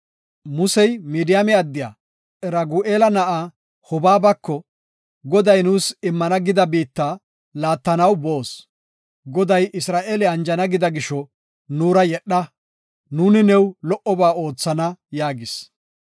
Musey Midiyaame addiya Ragu7eela na7aa Hobaabako, “Goday nuus immana gida biitta laattanaw boos; Goday Isra7eele anjana gida gisho nuura yedha; nuuni new lo77oba oothana” yaagis.